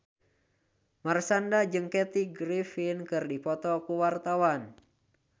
Marshanda jeung Kathy Griffin keur dipoto ku wartawan